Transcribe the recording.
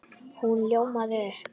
Hún ljómaði upp!